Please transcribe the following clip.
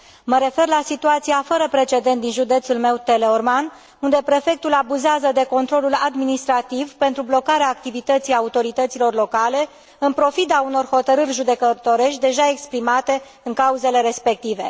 Mă refer la situația fără precedent din județul meu, Teleorman, unde prefectul abuzează de controlul administrativ pentru blocarea activității autorităților locale, în pofida unor hotărâri judecătorești deja exprimate în cauzele respective.